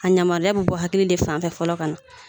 A yamaruya bi bɔ hakili de fanfɛ fɔlɔ ka na